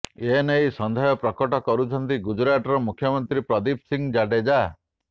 ଏ ନେଇ ସନ୍ଦେହ ପ୍ରକଟ କରିଛନ୍ତି ଗୁଜରାଟର ଗୃହମନ୍ତ୍ରୀ ପ୍ରଦୀପ ସିଂ ଜାଡେଜା